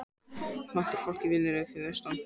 Vantar fólk í vinnu fyrir austan